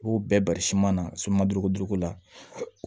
I b'o bɛɛ bari na suman duuru ko duuru ko la